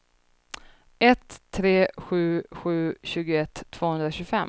ett tre sju sju tjugoett tvåhundratjugofem